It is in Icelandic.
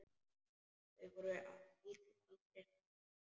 Þau voru heldur aldrei hrædd.